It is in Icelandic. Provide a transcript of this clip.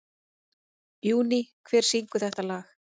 Júní, hver syngur þetta lag?